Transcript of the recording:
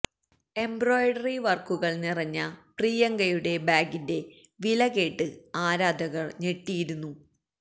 embroidery വർക്കുകൾ നിറഞ്ഞ പ്രിയങ്കയുടെ ബാഗിന്റെ വില കേട്ട് ആരാധകർ ഞെട്ടിയിരുന്നു